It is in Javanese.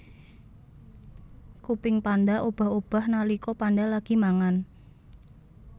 Kuping panda obah obah nalika panda lagi mangan